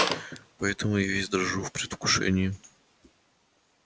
поэтому я весь дрожу в предвкушении